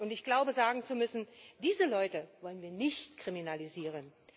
Ich glaube sagen zu müssen Diese Leute wollen wir nicht kriminalisieren.